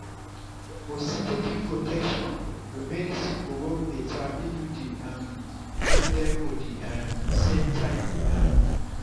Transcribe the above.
for steady protection your medicine go work better if you dey um take them for the um same time. um